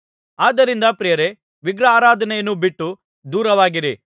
ಆದ್ದರಿಂದ ಪ್ರಿಯರೇ ವಿಗ್ರಹಾರಾಧನೆಯನ್ನು ಬಿಟ್ಟು ದೂರವಾಗಿರಿ